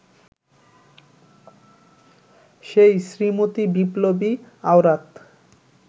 সেই শ্রীমতী বিপ্লবী আওরাত